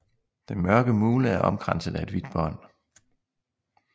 Den mørke mule er omkranset af et hvidt bånd